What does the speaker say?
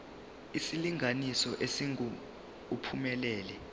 isilinganiso esingu uphumelele